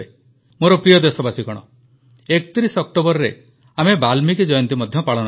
ମୋର ପ୍ରିୟ ଦେଶବାସୀଗଣ 31 ଅକ୍ଟୋବରରେ ଆମେ ବାଲ୍ମୀକି ଜୟନ୍ତୀ ମଧ୍ୟ ପାଳନ କରିବା